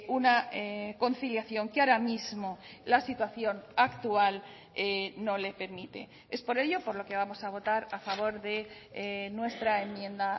una conciliación que ahora mismo la situación actual no le permite es por ello por lo que vamos a votar a favor de nuestra enmienda